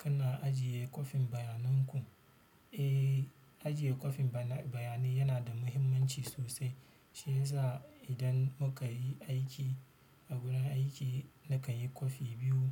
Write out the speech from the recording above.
Kana ajiye kwafin bayanan ku? Eh, ajiye kwafin bayani yana da muhimmanci sosai. Shi ya sa idan muka yi aiki a wurin aiki, nakan yi kwafi biyu.